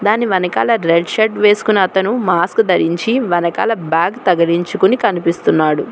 దాని వెనకాల red shirt వేసుకున్న అతను మాస్క్ ధరించి వెనకాల బ్యాగ్ తగిలించికొని కనిపిస్తున్నాడు.